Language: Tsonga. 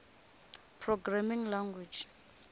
programming language